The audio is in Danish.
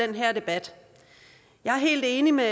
i den her debat jeg er helt enig med